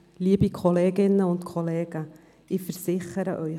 Liebe Kolleginnen und Kollegen, ich versichere Ihnen: